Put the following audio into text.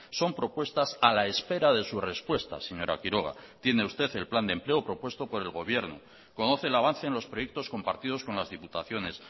son propuestas a la espera de su respuesta señora quiroga tiene usted el plan de empleo propuesto por el gobierno conoce el avance en los proyectos compartidos con las diputaciones